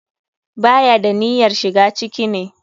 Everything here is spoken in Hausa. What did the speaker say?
Ba ya da niyyarshiga ciki ne.